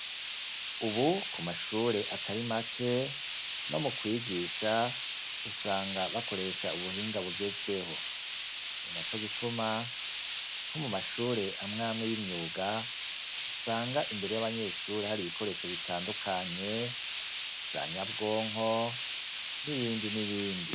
Ubu ku mashure atari make no mu kwigisha usanga bakoresha ubuhinga bugezweho ni na co gituma nko mu mashure amwamwe y'imyuga usanga imbere y'abanyeshure hari ibikoresho bitandukanye za nyabwonko n'ibinme di nibindi.